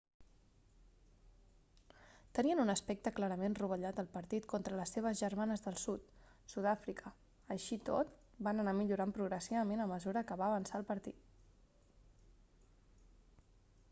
tenien un aspecte clarament rovellat al partit contra les seves germanes del sud sud-àfrica així i tot van anar millorant progressivament a mesura que va avançar el partit